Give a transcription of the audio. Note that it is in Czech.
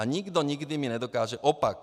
A nikdo nikdy mi nedokáže opak.